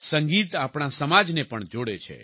સંગીત આપણા સમાજને પણ જોડે છે